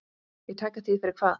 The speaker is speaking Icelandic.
Í tæka tíð fyrir hvað?